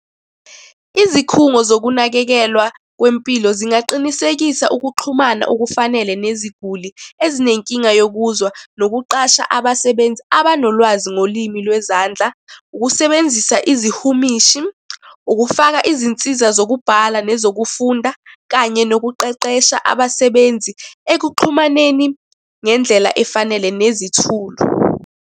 Izikhungo zokunakekelwa kwempilo zingaqinisekisa ukuxhumana okufanele neziguli ezinenkinga yokuzwa nokuqasha abasebenzi abanolwazi ngolimi lwezandla. Ukusebenzisa izihumishi, ukufaka izinsiza zokubhala nezokufunda, kanye nokuqeqesha abasebenzi ekuxhumaneni ngendlela efanele nezithulo.